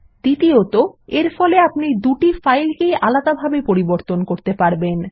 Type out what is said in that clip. দ্বিতীয়ত এরফলে আপনি দুটি ফাইলকেই আলাদাভাবে পরিবর্তন করতে পারবেন